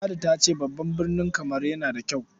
Ladi ta ce babban birni Kamaru yana kyau.